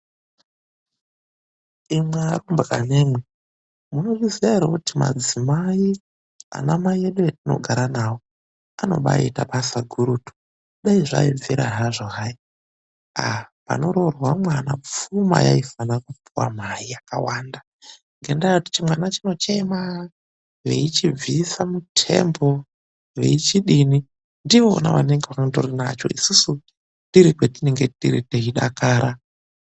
Imwi arumbwana imwi, munozviziya ere kuti madzimai, ana mai edu etinogara nawo anobaita basa gurutu. Dai zvaibvira hazvo hai, aaa panoroorwa mwana pfuma yaifanira kupuwa mai yakawanda ngendayekuti chimwana chinochema veichibvisa muthembo, veichidini. Ndivona vanenge vangorinacho ,isusu tiri kwetiri teidakara.